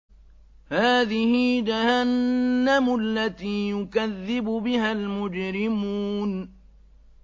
هَٰذِهِ جَهَنَّمُ الَّتِي يُكَذِّبُ بِهَا الْمُجْرِمُونَ